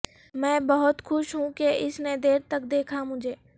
میں بہت خوش ہوں کہ اس نے دیر تک دیکھا مجھے